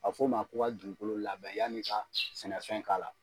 A bɛ f'o ma ko ka dugukolo labɛn y'a n'i ka sɛnɛfɛn' k'a la.